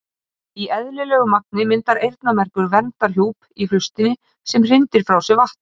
Í eðlilegu magni myndar eyrnamergur verndandi hjúp í hlustinni sem hrindir frá sér vatni.